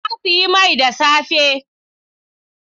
Na sayi mai da safe.